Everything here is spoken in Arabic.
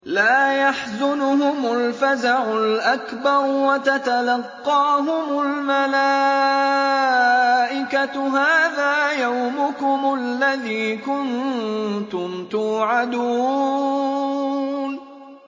لَا يَحْزُنُهُمُ الْفَزَعُ الْأَكْبَرُ وَتَتَلَقَّاهُمُ الْمَلَائِكَةُ هَٰذَا يَوْمُكُمُ الَّذِي كُنتُمْ تُوعَدُونَ